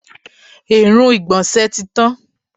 Èérún ìgbọ̀nsẹ̀ tí tán.